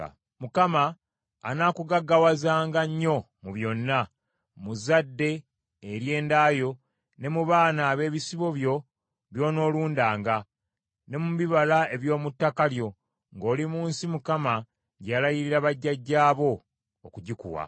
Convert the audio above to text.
Mukama anaakugaggawazanga nnyo mu byonna: mu zadde ery’enda yo, ne mu baana ab’ebisibo byo by’onoolundanga, ne mu bibala eby’omu ttaka lyo, ng’oli mu nsi Mukama gye yalayirira bajjajjaabo okugikuwa.